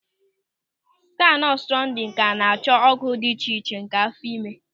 Skaanụ ọtụrasaụndụ ka an-achọ n'ogo dị iche iche nke áfọ̀ ime.